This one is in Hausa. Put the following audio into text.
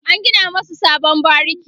an gina masu sabon bariki